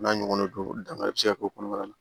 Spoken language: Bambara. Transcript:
N'a ɲɔgɔnna do dangari be se ka k'o kɔnɔ